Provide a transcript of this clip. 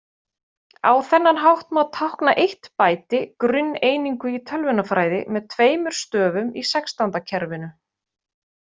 Á þennan hátt má tákna eitt bæti, grunneiningu í tölvunarfræði, með tveimur stöfum í sextándakerfinu.